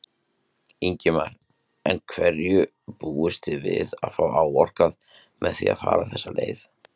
Ingimar: En hverju búist þið við að fá áorkað með því að fara þessa leið?